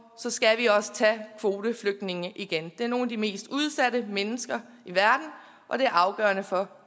skal vi også tage kvoteflygtninge igen det er nogle af de mest udsatte mennesker i verden og det er afgørende for